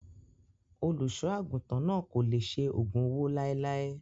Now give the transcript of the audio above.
Olùṣọ́ àgùntàn náà kò lè ṣe ògùn owó láéláé.